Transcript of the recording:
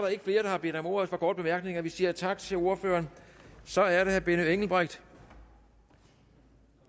ikke flere der har bedt om ordet for korte bemærkninger vi siger tak til ordføreren og så er det herre benny engelbrecht